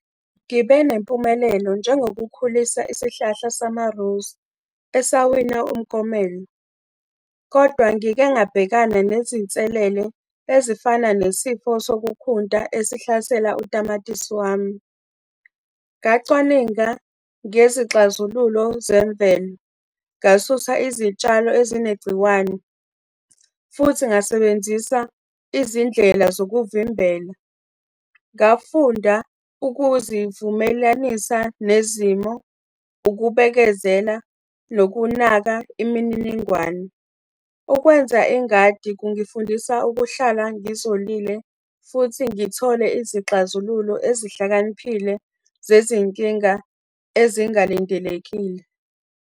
Ngibe nempumelelo njengokukhulisa isihlahla sama-rose, esawina umklomelo. Kodwa ngike ngabhekana nezinselele ezifana nesifo sokukhunta esihlasela utamatisi wami. Ngacwaninga ngezixazululo zemvelo, ngasusa izitshalo ezinegciwane, futhi ngasebenzisa izindlela zokuvimbela. Ngafunda ukuzivumelanisa nezimo, ukubekezela, nokunaka imininingwane. Ukwenza ingadi kungifundisa ukuhlala ngizolile, futhi ngithole izixazululo ezihlakaniphile zezinkinga ezingalindelekile.